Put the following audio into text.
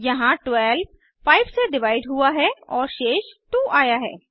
यहाँ 12 5 से डिवाइड हुआ है और शेष 2आया है